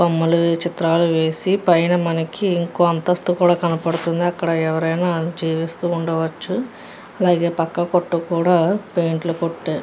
బొమ్మలు చిత్రాలు గీసి పైన మనకి ఇంకో అంతస్తు కూడా కనపడుతుంది అక్కడ ఎవరైనా జీవిస్తూ ఉండవచ్చు. అలాగే పక్క కొట్టుకు కూడా పెయింట్ లు కొట్టారు.